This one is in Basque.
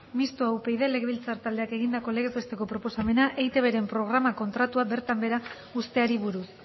mistoa upyd legebiltzar taldeak egindako legez besteko proposamena eitbren programa kontratua bertan behera uzteari buruz